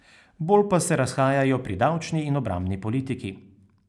Bolj pa se razhajajo pri davčni in obrambni politiki.